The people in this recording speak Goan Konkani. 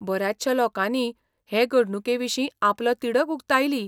बऱ्याचशा लोकांनी हे घडणुके विशीं आपलो तिडक उक्तायली.